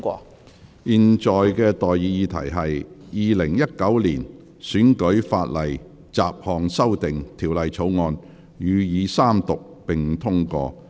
我現在向各位提出的待議議題是：《2019年選舉法例條例草案》予以三讀並通過。